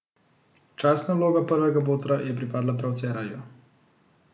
Častna vloga prvega botra je pripadla prav Cerarju.